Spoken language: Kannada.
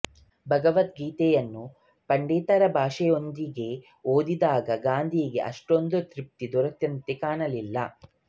ಭಗವದ್ಗೀತೆಯನ್ನು ಪಂಡಿತರ ಭಾಷ್ಯಗಳೊಂದಿಗೆ ಓದಿದಾಗ ಗಾಂಧಿಗೆ ಅಷ್ಟೊಂದು ತೃಪ್ತಿ ದೊರೆತಂತೆ ಕಾಣಲಿಲ್ಲ